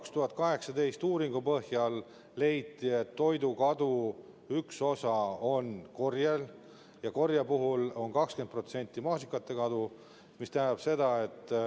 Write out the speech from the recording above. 2018. aasta uuringu põhjal leiti, et toidukao üks osa tekib korjel, ja korje puhul on maasikate kadu 20%.